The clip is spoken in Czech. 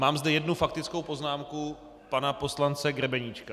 Mám zde jednu faktickou poznámku pana poslance Grebeníčka.